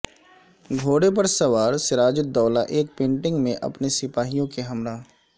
گھوڑے پر سوار سراج الدولہ ایک پینٹنگ میں اپنے سپاہیوں کے ہمراہ